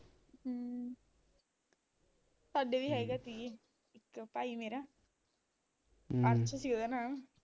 ਸਾਡੇ ਵੀ ਹੈਗਾ ਕਹੀਏ, ਇੱਕ ਭਾਈ ਮੇਰਾ ਅਰਸ਼ ਸੀ ਉਹਦਾ ਨਾਮ